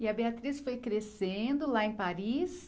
E a Beatriz foi crescendo lá em Paris.